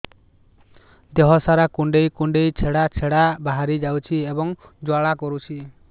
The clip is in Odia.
ଦେହ ସାରା କୁଣ୍ଡେଇ କୁଣ୍ଡେଇ ଛେଡ଼ା ଛେଡ଼ା ବାହାରି ଯାଉଛି ଏବଂ ଜ୍ୱାଳା କରୁଛି